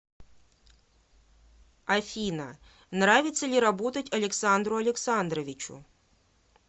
афина нравится ли работать александру александровичу